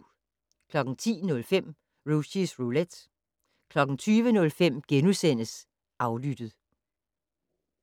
10:05: Rushys Roulette 20:05: Aflyttet *